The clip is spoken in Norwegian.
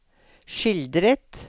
skildret